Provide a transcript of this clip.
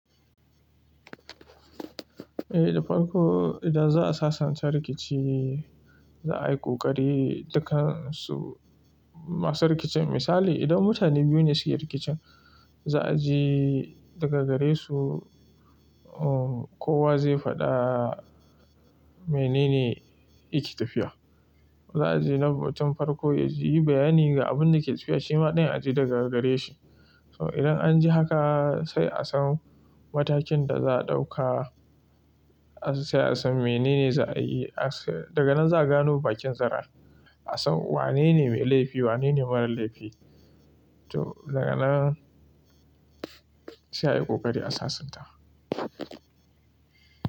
Eh, da farko idan za a sasanta rikici za a yi ƙoƙari dakansu masu rikicin. Misali idan mutane biyu ne suke rikicin za a ji daga gare su, uh, kowa zai faɗa menene yake tafiya. Za a ji na batun farko ya ji yi bayani ga abin da yake tafiya, shi ma dai ya ji daga gare shi. To idan an ji haka sai a san matakin da za a ɗauka, sai a san menene za a yi. Daga nan za a gano bakin zaren, a san wanene mai laifi, wanene mara laifi. To daga nan sai a yi ƙoƙari a sasanta.